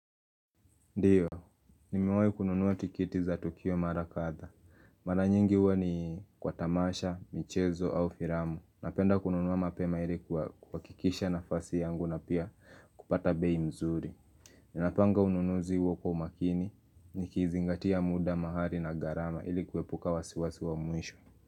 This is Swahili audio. Ndiyo, nimiwai kununuwa tiketi za Tukio Mara kadha. Mara nyingi uwa ni kwa tamasha, michezo au firamu. Napenda kununuwa mapema ili kuhakikisha nafasi yangu na pia kupata bei mzuri. Ninapanga ununuzi huo kwa umakini, nikizingatia muda, mahali na gharama ili kuepuka wasiwasi wa muisho.